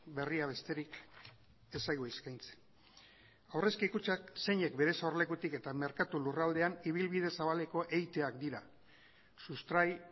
berria besterik ez zaigu eskaintzen aurrezki kutxak zeinek bere sorlekutik eta merkatu lurraldean ibilbide zabaleko eiteak dira sustrai